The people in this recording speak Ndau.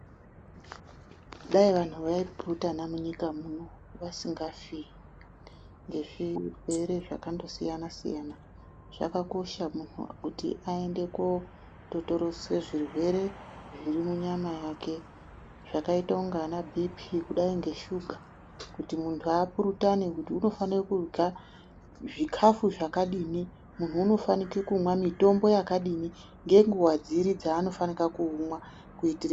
Dai vantu vai purutana munyika muno vasingafi ngezvirwere zvakangosiyana-siyana. Zvakakosha kuti muntu aende koototoroswa zvirwere zviri munyama yake. Zvakaita unga ana bhii-phii, kudai ngeshuga kuti muntu apurutane kuti munthu unofanira kurya zvikafu zvakadini, muntu unofanira kumwa mitombo yakadini, ngenguwa dziri dzeanofanire kuumwa.